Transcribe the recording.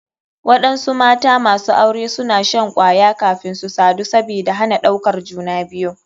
Waɗansu mata masu aure suna shan kwaya kafin su sadu sabida hana ɗaukar juna biyu.